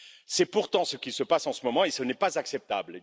C'est pourtant ce qui se passe en ce moment et ce n'est pas acceptable.